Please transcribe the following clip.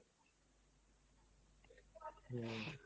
হম।